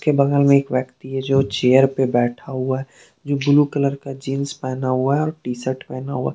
के बगल में एक व्यक्ति है जो चेयर पे बैठा हुआ है। जो ब्लू कलर का जींस पहना हुआ है और टी सर्ट पहना हुआ।